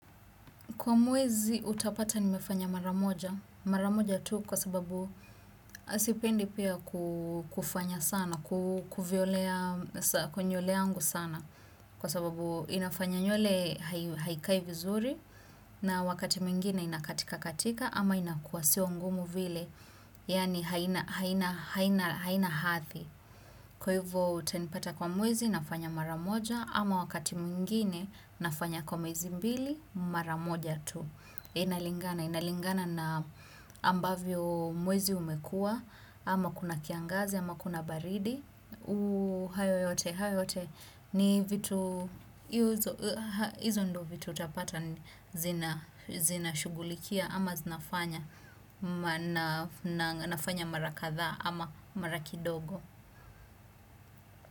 Kwa mwezi utapata nimefanya maramoja. Maramoja tu kwa sababu sipendi pia kufanya sana, kuvyolea nywele yangu sana. Kwa sababu inafanya nywele haikai vizuri na wakati mwingine inakatika katika ama inakua sio ngumu vile. Yaani haina hadhi. Kwa hivyo utanipata kwa mwezi nafanya mara moja ama wakati mwingine nafanya kwa mwezi mbili mara moja tu. Inalingana, inalingana na ambavyo mwezi umekua, ama kuna kiangazi, ama kuna baridi. Hayo yote, hayo yote, ni vitu, hizo ndo vitu utapata zina shughulikia, ama zinafanya mara kadhaa ama mara kidogo.